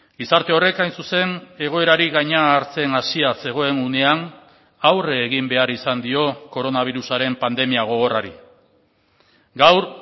gizarte horrek hain zuzen egoerari gaina hartzen hasia zegoen unean aurre egin behar izan dio koronabirusaren pandemia gogorrari gaur